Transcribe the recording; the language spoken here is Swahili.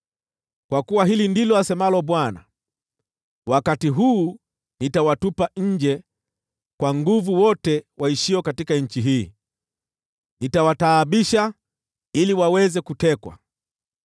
Kwa kuwa hili ndilo asemalo Bwana : “Wakati huu, nitawatupa nje kwa nguvu wote waishio katika nchi hii; nitawataabisha ili waweze kutekwa.”